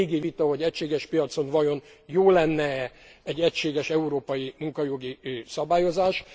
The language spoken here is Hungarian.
Ez egy régi vita, hogy egységes piacon vajon jó lenne e egy egységes európai munkajogi szabályozás.